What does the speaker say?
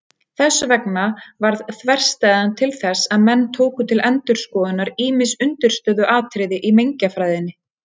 Þess vegna varð þverstæðan til þess að menn tóku til endurskoðunar ýmis undirstöðuatriði í mengjafræðinni.